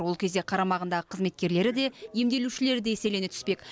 ол кезде қарамағындағы қызметкерлері де емделушілері де еселене түспек